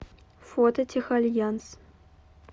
фото техальянс